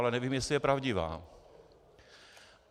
Ale nevím, jestli je pravdivá.